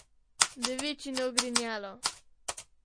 Devičino ogrinjalo.